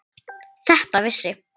Þetta vissi